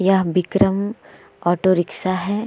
यह Vikram auto rickshaw है।